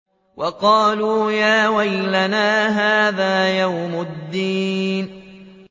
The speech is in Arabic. وَقَالُوا يَا وَيْلَنَا هَٰذَا يَوْمُ الدِّينِ